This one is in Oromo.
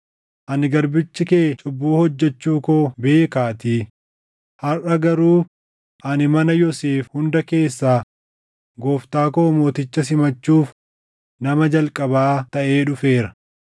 Ani garbichi kee cubbuu hojjechuu koo beekaatii; harʼa garuu ani mana Yoosef hunda keessaa gooftaa koo mooticha simachuuf nama jalqabaa taʼee dhufeera.”